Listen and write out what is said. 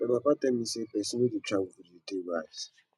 my papa talk sey pesin wey dey travel dey dey wise